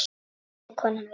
bætti konan við.